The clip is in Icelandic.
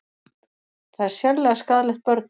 Það er sérlega skaðlegt börnum